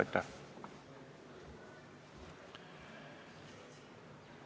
Aitäh!